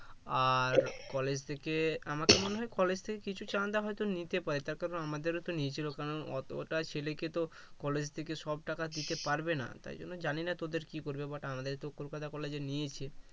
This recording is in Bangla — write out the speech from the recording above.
আর college থেকে আমাদের মনে হয় college থেকে কিছু চান্দা হয়তো নিতে পারে তার কারন আমাদেরতো নিয়েছিল কারণ অযথা ছেলেকেতো college থেকে সব টাকা দিতে পারবে না তাই জন্য জানি না তোদের কি করবে but আমাদের তো কলকাতা college এ নিয়েছে